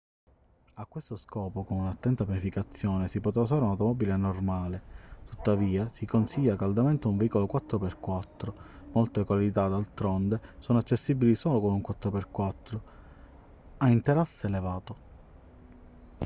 a questo scopo con un'attenta pianificazione si potrà usare un'automobile normale tuttavia si consiglia caldamente un veicolo 4x4. molte località d'altronde sono accessibili solo con un 4x4 a interasse elevato